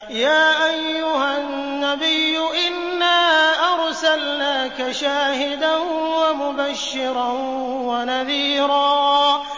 يَا أَيُّهَا النَّبِيُّ إِنَّا أَرْسَلْنَاكَ شَاهِدًا وَمُبَشِّرًا وَنَذِيرًا